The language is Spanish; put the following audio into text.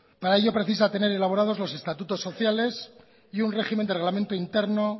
para ello precisa tener elaborado los estatutos sociales y un régimen de reglamento interno